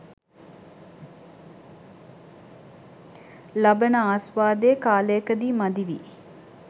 ලබන ආස්වාදය කාලයකදී මදි වී